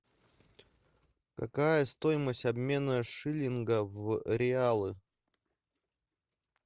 какая стоимость обмена шиллинга в реалы